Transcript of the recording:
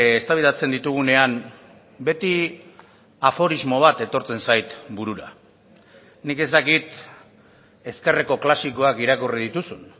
eztabaidatzen ditugunean beti aforismo bat etortzen zait burura nik ez dakit ezkerreko klasikoak irakurri dituzun